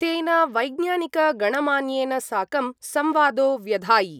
तेन वैज्ञानिकगणमान्येन साकं संवादो व्यधायि।